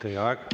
Teie aeg!